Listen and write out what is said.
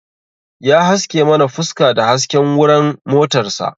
Ya haske mana fuska da hasken wuran motar sa